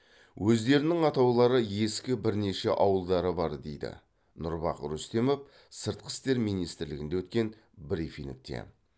өздерінің атаулары ескі бірнеше ауылдары бар дейді нұрбах рүстемов сыртқы істер министрлігінде өткен брифингте